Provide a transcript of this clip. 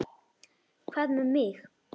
Hvað með mig?